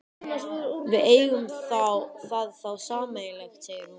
Við eigum það þá sameiginlegt, segir hún.